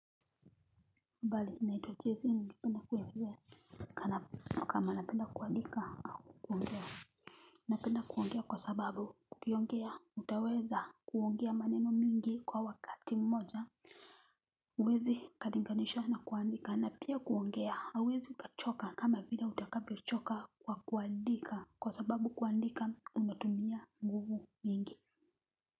Mbali, naitwa jese ningependa kuelezea. Na kama napenda kuandika au kuongea. Napenda kuongea kwa sababu ukiongea utaweza kuongea maneno mingi kwa wakati mmoja. Uwezi kalinganisha na kuandika na pia kuongea hauwezi ukachoka kama vile utakavyo choka kwa kuandika. Kwa sababu kuandika unatumia nguvu mingi.